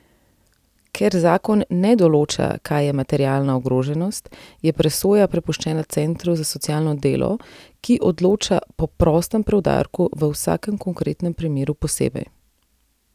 Ker zakon ne določa, kaj je materialna ogroženost, je presoja prepuščena centru za socialno delo, ki odloča po prostem preudarku v vsakem konkretnem primeru posebej.